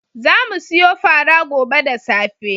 Za mu siyo fara gobe da safe.